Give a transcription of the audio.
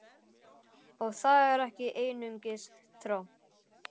Og það er ekki einungis tromp!